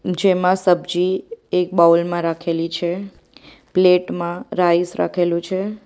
જેમાં સબ્જી એક બાઉલ માં રાખેલી છે પ્લેટ માં રાઈસ રાખેલુ છે.